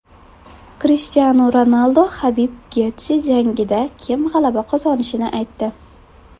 Krishtianu Ronaldu HabibGetji jangida kim g‘alaba qozonishini aytdi.